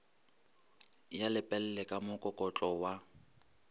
ya lepelle ka mokokotlo wa